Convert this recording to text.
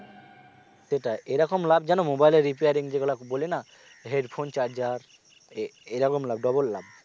সেটাই। এরকম লাভ জান mobile এর repairing যেগুলা বলি না headphone charger এ~ এরকম লাভ double লাভ